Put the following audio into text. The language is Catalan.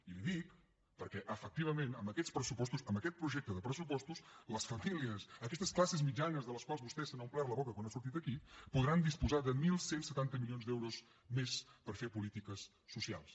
i li ho dic perquè efectivament amb aquests pressupostos amb aquest projecte de pressupostos les famílies aquestes classes mitjanes de les quals vostè s’ha omplert la boca quan ha sortit aquí podran disposar de onze setanta milions d’euros més per fer polítiques socials